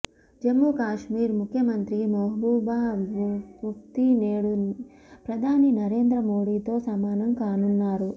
జమ్మూకశ్మీర్ ముఖ్యమంత్రి మెహబూబా ముఫ్తీ నేడు ప్రధాని నరేంద్ర మోదీతో సమావేశం కానున్నారు